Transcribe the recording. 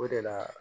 O de la